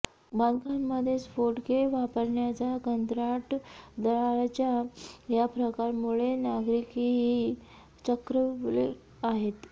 बांधकामामध्ये स्फोटके वापरण्याच्या कंत्राटदाराच्या या प्रकारामुळे नागरिकही चक्रावले आहेत